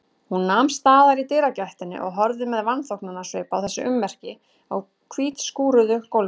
Hún nam staðar í dyragættinni og horfði með vanþóknunarsvip á þessi ummerki á hvítskúruðu gólfinu.